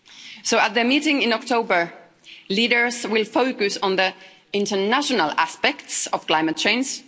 So, at the meeting in October, leaders will focus on the international aspects of climate change.